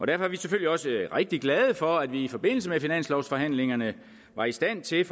derfor er vi selvfølgelig også rigtig glade for at vi i forbindelse med finanslovforhandlingerne var i stand til